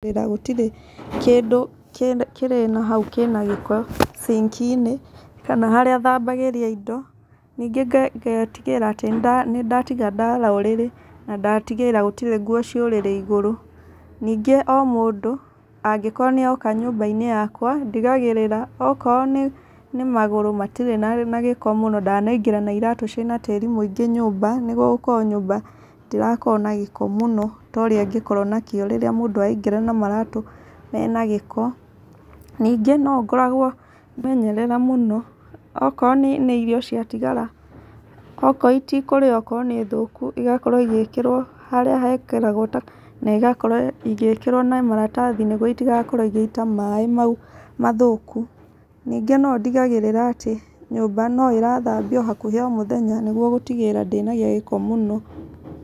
Gũtirĩ kĩndũ kĩ kĩrĩ na haũ kĩrĩ nagĩko ciniki-inĩ kana harĩa thambagĩria indo nĩngĩ ngetĩgĩra atĩ nĩ nda nĩndatĩga ndara ũrĩrĩ na ndatĩgĩrĩra gũtirĩ ngũo ci ũrĩrĩ ĩgũrũ nĩngĩ o mũndũ angĩkorwo nĩ a oka nyũmba inĩ yakwa ndĩgagĩrĩra okorwo nĩ magũrũ matĩrĩ na gĩko mũno ndanaingĩra na ĩratũ ciĩna tĩri mũingĩ nyũmba nĩgũo gũkorwo nyũmba ndĩrakorwo na gĩko mũno ta ũrĩa ĩngĩkorwo na kĩo rĩra mũndũ araingĩra na maratũ mena gĩko , ningĩ nongoragwo ngĩmenyerera mũno okorwo nĩ irio cia tĩgara okorwo itikũrĩo okorwo nĩ thũku ĩgakorrwo igĩkĩrwo harĩa hekĩragwo takataka na ĩgakorwo ĩgĩkĩrwo na maratathi nĩ gũo ĩtĩgakorwo igĩita maĩ maũ mathũku nĩngĩ no ndĩgagĩrĩra atĩ nyũmba no ĩra thambia akũhĩ o mũthenya nĩ gũo gũtĩgĩrĩra ndĩna gia gĩko mũno .